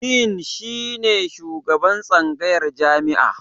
Din shi ne shugaban tsangayar jami'a.